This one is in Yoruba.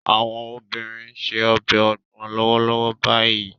Àwọn obìnrin ń se ọbẹ̀ ogbon lọ́wọ́lọ́wọ́ báyìí